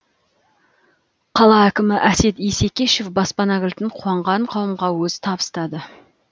қала әкімі әсет исекешев баспана кілтін қуанған қауымға өзі табыстады